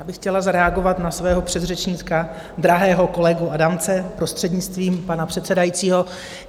Já bych chtěla zareagovat na svého předřečníka, drahého kolegu Adamce, prostřednictvím pana předsedajícího.